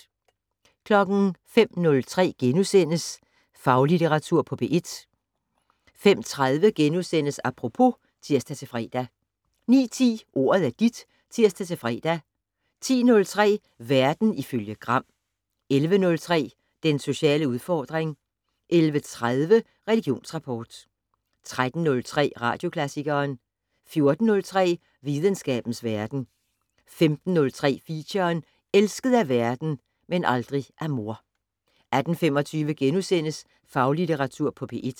05:03: Faglitteratur på P1 * 05:30: Apropos *(tir-fre) 09:10: Ordet er dit (tir-fre) 10:03: Verden ifølge Gram 11:03: Den sociale udfordring 11:30: Religionsrapport 13:03: Radioklassikeren 14:03: Videnskabens Verden 15:03: Feature: Elsket af verden - men aldrig af mor 18:25: Faglitteratur på P1 *